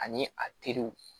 Ani a teriw